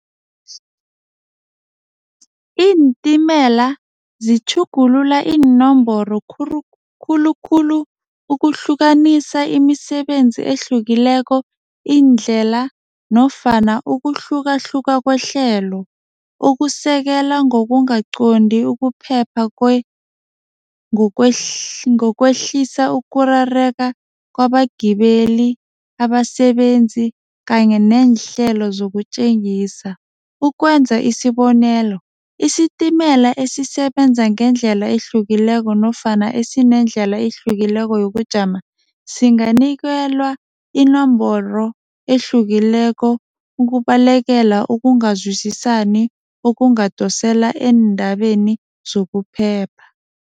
Iintimela zitjhugulula iinomboro khulukhulu ukuhlukanisa imisebenzi ehlukileko, iindlela nofana ukuhlukahluka kwehlelo, ukusekela ngokungakaqondi, ukuphepha ngokwehlisa ukurareka kwabagibeli, abasebenzi kanye neehlelo zokutjengisa. Ukwenza isibonelo, isitimela esisebenza ngendlela ehlukileko nofana esinendlela ehlukileko yokujama singanikelwa inomboro ehlukileko ukubalekela ukungazwisisani okungadosela eendabeni zokuphepha.